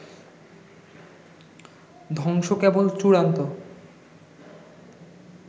ধ্বংস কেবল চূড়ান্ত